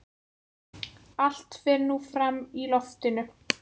Allt fer nú fram í loftinu.